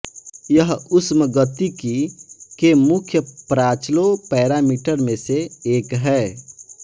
यह ऊष्मगतिकी के मुख्य प्राचलों पैरामीटर में से एक है